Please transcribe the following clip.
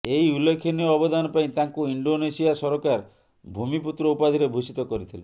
ଏହି ଉଲ୍ଲେଖନୀୟ ଅବଦାନ ପାଇଁ ତାଙ୍କୁ ଇଣ୍ଡୋନେସିଆ ସରକାର ଭୂମିପୂତ୍ର ଉପାଧିରେ ଭୂଷିତ କରିଥିଲେ